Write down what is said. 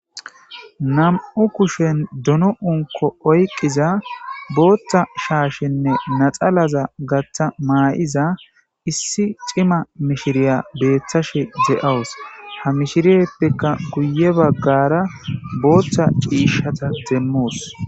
Namu kushen duno unko oyqqiza booththa shaashenne naxalaza gaththa maa'iza issi cima mishiriya beeththashe ze'owus ha mishiriyeppekka guye baggara booththa ciishata demmoos.